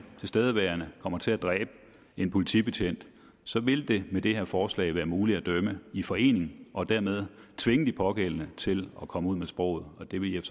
tilstedeværende kommer til at dræbe en politibetjent så ville det med det her forslag være muligt at dømme i forening og dermed tvinge de pågældende til at komme ud med sproget og det ville